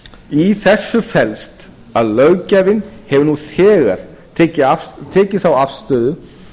í þessu felst að löggjafinn hefur nú þegar tekið þá afstöðu